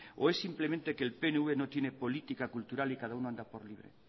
o es simplemente que el pnv no tiene política cultural y cada uno anda por libre